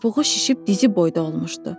Topuğu şişib dizi boyda olmuşdu.